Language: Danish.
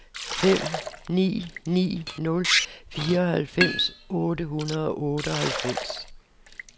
fem ni ni nul fireoghalvfems otte hundrede og otteoghalvfems